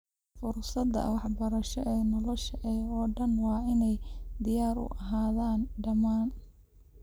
Fursadaha waxbarasho ee nolosha oo dhan waa inay diyaar u ahaadaan dhammaan.